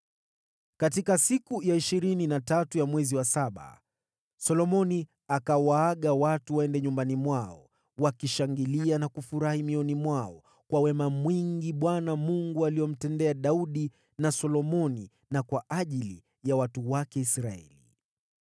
Katika siku ya ishirini na tatu ya mwezi wa saba Solomoni akawaaga watu waende nyumbani mwao, wakishangilia na kufurahi mioyoni mwao, kwa wema mwingi Bwana Mungu aliomtendea Daudi na Solomoni na kwa ajili ya watu wake Israeli.